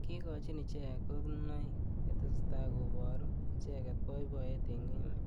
Kikochin icheket konunoik ye tesetai koburu icheket boiboyet eng emet